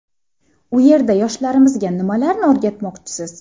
U yerda yoshlarimizga nimalarni o‘rgatmoqchisiz?